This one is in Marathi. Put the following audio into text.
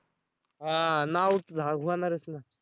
हां नाव होणारच ना